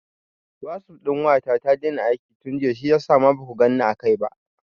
Wasup ɗin waya ta ta daina aiki tun jiya shiyasa ma baku ganni a kai ba.